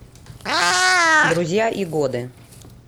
друзья и годы